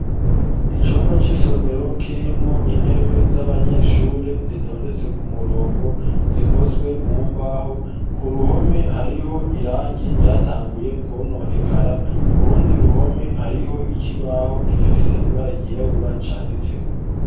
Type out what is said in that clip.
Icumba c'isomero kirimwo intebe z'abanyeshure zitondetse ku murongo zikozwe mu mbaho ku ruhome hariho irangi ryatanguye kononekara kurundi ruhome hariho ikibaho gifise ibara ryirabura canditseko.